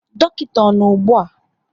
Dọkịta ọ nọ ụgbụa?